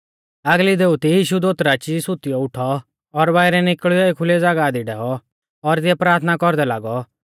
आगली दोउती यीशु दोत राची सुतियौ उठौ और बाइरै निकल़ियौ एखुलै ज़ागाह दी डैऔ और तिऐ प्राथना कौरदै लागौ